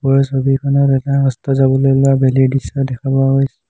ওপৰৰ ছবিখনত এটা অস্ত যাবলে উলুৱা বেলিৰ দৃশ্য দেখা পোৱা গৈছে।